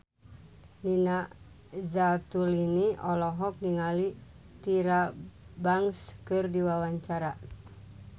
Nina Zatulini olohok ningali Tyra Banks keur diwawancara